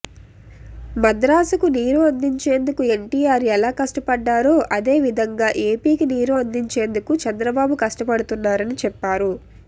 మద్రాసుకు నీరు అందించేందుకు ఎన్టీఆర్ ఎలా కష్టపడ్డారో అదే విధంగా ఏపీకి నీరు అందించేందుకు చంద్రబాబు కష్డపడుతున్నారని చెప్పారు